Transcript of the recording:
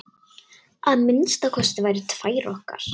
Að minnsta kosti tvær okkar.